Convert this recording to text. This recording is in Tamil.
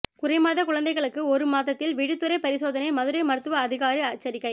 குறைமாத குழந்தைகளுக்கு ஒரு மாதத்தில் விழித்திரை பரிசோதனை மதுரை மருத்துவ அதிகாரி எச்சரிக்கை